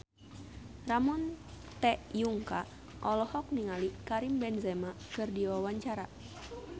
Ramon T. Yungka olohok ningali Karim Benzema keur diwawancara